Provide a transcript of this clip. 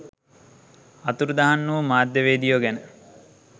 අතුරුදන් වූ මාධ්‍යවේදියෝ ගැන